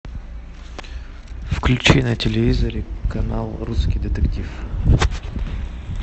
включи на телевизоре канал русский детектив